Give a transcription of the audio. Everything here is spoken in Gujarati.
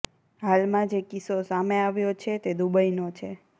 હાલમાં જે કિસ્સો સામે આવ્યો છે તે દુબઈનો છે